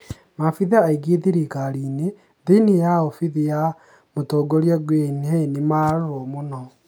Maabitha aingĩ thirikarini thĩinĩ ya obithi ya mũtongoria Guen Hye nĩmararorwa mũno